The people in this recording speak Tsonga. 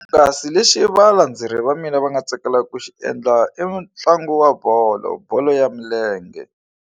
Kasi lexi valandzeleri va mina va nga tsakelaka ku xi endla i ntlangu wa bolo bolo ya milenge.